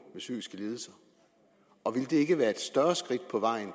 med psykiske lidelser og om det ikke ville være et større skridt på vejen